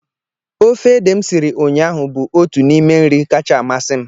ofe ede m siri ụnyahụ bụ otu n'ime nri kacha amasị m